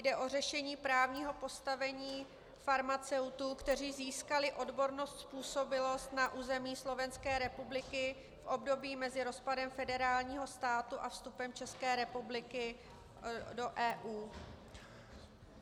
Jde o řešení právního postavení farmaceutů, kteří získali odbornou způsobilost na území Slovenské republiky v období mezi rozpadem federálního státu a vstupem České republiky do EU.